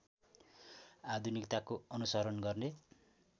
आधुनिकताको अनुशरण गर्ने